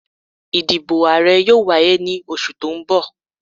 Ìdìbò Ààrẹ yóò wáyé ní oṣù tó ń bọ̀